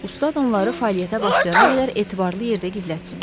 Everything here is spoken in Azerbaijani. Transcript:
Ustad onları fəaliyyətə başlayana qədər etibarlı yerdə gizlətsin.